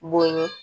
Bonɲɛ